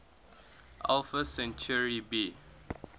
alpha centauri b